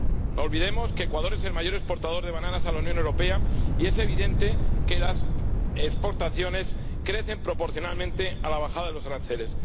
No olvidemos que Ecuador es el mayor exportador de bananas a la Unión Europea y es evidente que las exportaciones crecen proporcionalmente a la bajada de los aranceles.